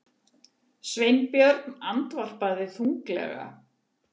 Sveinbjörn andvarpaði þunglega.